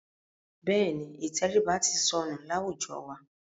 Bẹ́ẹ̀ni, ìtẹríba ti sọnù láwùjọ wa.